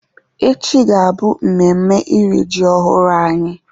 Echi ga-abụ memme iri ji ọhụrụ anyị